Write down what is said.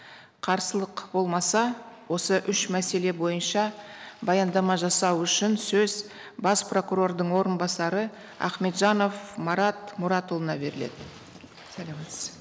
қарсылық болмаса осы үш мәселе бойынша баяндама жасау үшін сөз бас прокурордың орынбасары ахметжанов марат мұратұлына беріледі саламатсыз